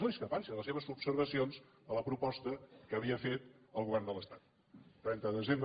no discrepàncies les seves observacions a la proposta que havia fet el govern de l’estat el trenta de desembre